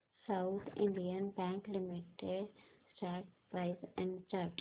south Indian Bank Limited stock price and chart